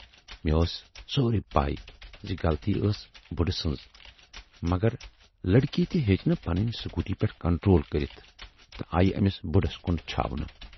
مے ٲس سورُے پےَ زِ غلطی ٲس بُڈٕ سٕنز مگر لڑکی تہِ ہیچ نہٕ پننہِ سکوٗٹی پٮ۪ٹھ کنٹرول کٔرِتھ تہٕ آیہِ ٲمِس بُڈس کُن چھاونہٕ۔